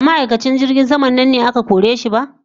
Ba ma'aikacin jirgin sama nan ne aka kore shi ba?